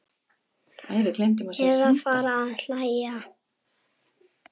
Eða fara að hlæja.